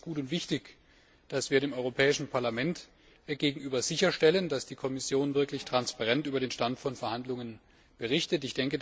Es ist gut und wichtig, dass wir dem Europäischen Parlament gegenüber sicherstellen, dass die Kommission wirklich transparent über den Stand von Verhandlungen berichtet.